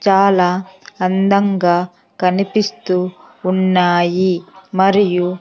చాలా అందంగా కనిపిస్తూ ఉన్నాయి మరియు --